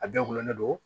A bɛɛ gulonnen don